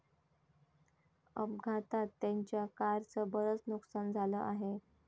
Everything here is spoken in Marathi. अपघातात त्यांच्या कारचं बरंच नुकसान झालं आहे.